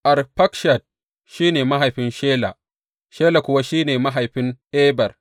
Arfakshad shi ne mahaifin Shela, Shela kuwa shi ne mahaifin Eber.